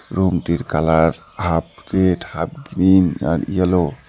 Room -টির colour half red half green আর yellow.